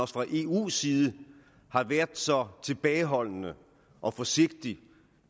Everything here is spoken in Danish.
fra eu’s side har været så tilbageholdende og forsigtig